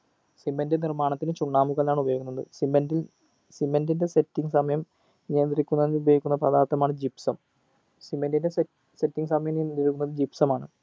cement നിർമ്മാണത്തിന് ചുണ്ണാമ്പ് കല്ലാണ് ഉപയോഗിക്കുന്നത് cement cement ൻ്റെ setting സമയം നിയന്ത്രിക്കുന്നതിന് ഉപയോഗിക്കുന്ന പദാർത്ഥമാണ് gypsumcement ൻ്റെ set setting സമയം നിയന്ത്രിക്കുന്നത് gypsum ആണ്